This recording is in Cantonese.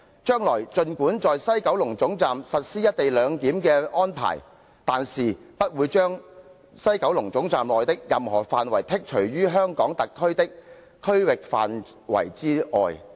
將來儘管在西九龍總站實施'一地兩檢'的安排，但是不會將西九龍總站內的任何範圍剔除於香港特區的區域範圍之外。